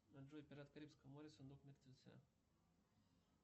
джой пираты карибского моря сундук мертвеца